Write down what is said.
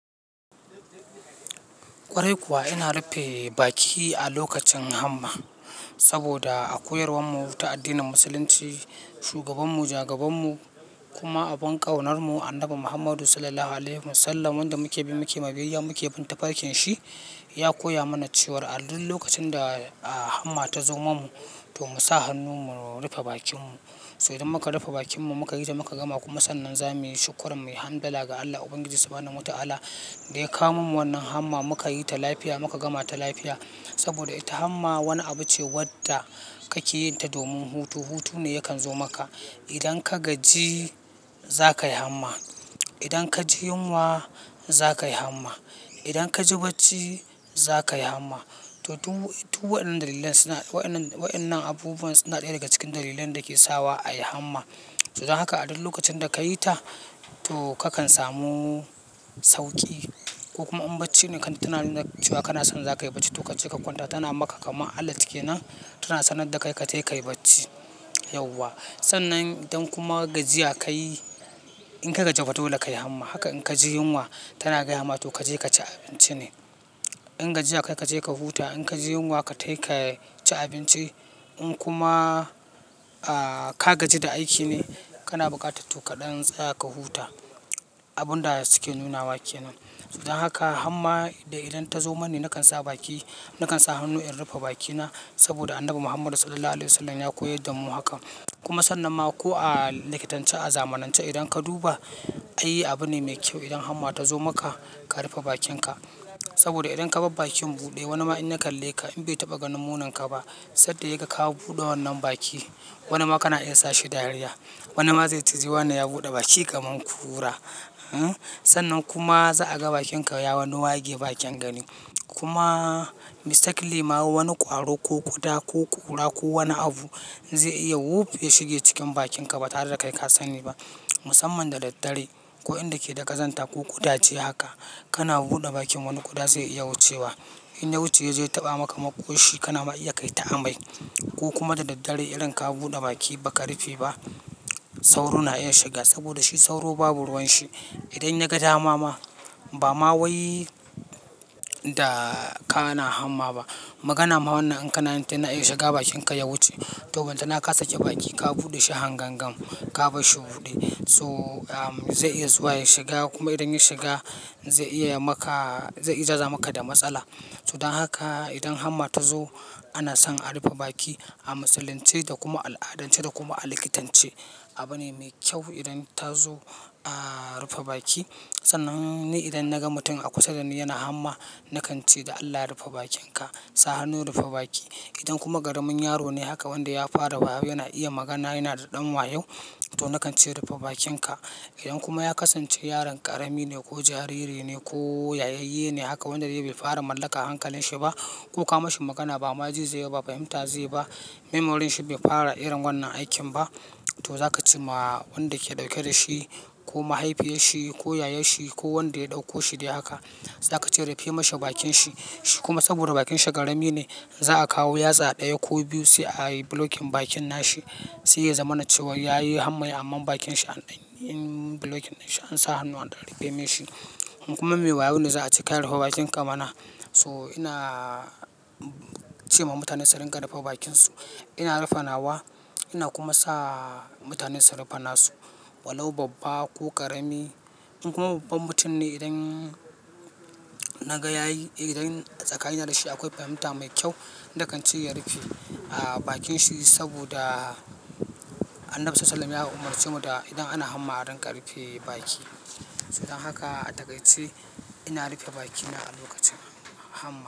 Kwarai kuwa ina rufe baki a lokacin hamma saboda a koyarwar mu ta addinin Musulunci, shugaban mu, jagaban mu kuma abin ƙaunar mu Annabi Muhammadu Sallallahu Alaihi Wasallam wanda muke bin muke ma biyayya, muke bin tafarkin shi ya koya mana cewar a duk lokacin da hamma ta zo ma mu to mu sa hannu mu rufe bakin mu. To idan muka rufe bakin mu muka yi ta muka gama kuma sannan za muyi shukran, muyi hamdila ga Allah Ubangiji Subhanahu wa Ta'ala da ya kawo mamu wannan hamma muka yi ta lafiya muka gama ta lafiya. Saboda ita hamma wani abu ce wanda kake yin ta domin hutu, hutu ne yakan zo maka. Idan ka gaji za kaihamma. Idan ka ji yunwa za kayi hamma. Idan ka ji bacci za kayi hamma. To duk, duk waɗannan dalilan suna, waɗannan, waɗannan abubuwan suna ɗaya daga cikin dalilan da ke sawa a yi hamma. Yanzu haka a duk lokacin da ka yi ta to kakan samu sauƙi. Ko kuma in bacci ne kan tana nuna cewa kana son za kayi bacci to ka ce ka kwanta tana maka kaman alert kenan tana sanar da ka ka tai ka yi bacci yauwa. Sannan idan kuma gajiya ka yi, in ka gaji fa dole ka yi hamma. Haka in ka ji yunwa tana gaya ma to ka je ka ci abinci ne. In gajiya ka je ka huta, in ka ji yunwa ka tai ka ci abinci. In kuma, aaaa, ka gaji da aiki ne kana buƙata to kaɗan tsaya ka huta. Abun da suke nunawa kenan. So don haka hamma da idan ta zo mani nakan sa baki, nakan sa hannu in rufe bakina saboda Annabi Muhammadu Sallallahu Alaihi Wasallam ya koyar da mu hakan. Kuma sannan ma ko a likitance, a zamanance idan ka duba ai abune mai kyau idan hamma ta zo maka ka rufe bakinka. Saboda idan ka bar bakin buɗe wani ma in na kalle ka in bai taɓa ga muninka ba sadda yag ka ka buɗe wannan baki wani ma kana iya sa shi dariya. Wani ma zai ji wani ya buɗe baki kaman kura. Sannan kuma za a ga bakinka ya wane wage ba kyan gani. Kuma mistakenly ma wani ƙwaro ko ƙuda ko ƙura ko wani abu zai iya wuf ya shiga cikin bakinka ba tare da kai ka sani ba. Musamman da daddare ko inda ke da kazanta ko kudaje haka kana buɗe bakin wani ƙuda zai iya wucewa. In ya wuce yaje ya taɓa maka maƙoshi kana ma iya kai ta amai. Ko kuma da daddare irin ka buɗe baki ba ka rufe ba sauro na iya shiga saboda shi sauro babu ruwan shi. Idan ya ga dama ma, ba ma wai da ka na hamma ba magana ma wannan in kana yin ta na iya shiga bakinka ya wuce. To bantana ka sake baki ka buɗe shi hangangan ka bashshi buɗe. To am, zai iya zuwa ya shiga kuma idan ya shiga zai iya maka, zai iya zamaka da matsala. So dan haka idan hamma ta zo ana son a rufe baki a Musulunce da kuma al'adance da kuma a likitance. Abu ne mai kyau idan ta zo a rufe baki. Sannan ni idan na ga mutum a kusa da ni yana hamma nakan ce da "Allah ya rufe bakinka, sa hannu rufe baki". Idan kuma karamin yaro ne haka wanda ya fara wayo yana iya magana yana da ɗan wayo to nakan ce "rufe bakinka". Idan kuma ya kasance yaron ƙarami ne ko jariri ne ko yayayye ne haka wanda ya bai fara mallaka hankalin shi ba ko ka ma shi magana ba ma ji zai yi ba fahimta zai ba, memories shi bai fara irin wannan aikin ba to za ka ce ma wanda ke ɗauke da shi ko mahaifiyar shi ko yayar shi ko wanda ya ɗauko shi dai haka za ka ce "rufe mashi bakin shi". Kuma saboda bakin shi ƙarami ne za a kawo yatsa ɗaya ko biyu sai a yi bulokin bakin nashi. Sai ya zama na cewa ya yi hammai amma bakin shi an ɗin, bulokin nashi an sa hannu an rufe mashi. Kuma mai wayo ne za a ce kai rufe bakinka mana. So ina ce ma mutane su riƙa rufe bakin su. Ina rufe nawa ina kuma sa mutane su rufa nasu. Walau babba ko ƙarami. In kuma babban mutum ne idan naga yayi, idan tsakanina da shi akwai fahimta mai kyau, nakan ce ya rufe a bakin shi saboda Annabi Sallallahu Alaihi Wasallam ya umarce mu da idan ana hamma a rinƙa rufe baki. So dan haka a takaice ina rufe bakina a lokacin hamma.